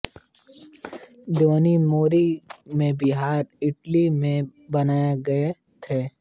देवनी मोरी में विहार ईंटों से बनाए गए थे